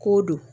K'o don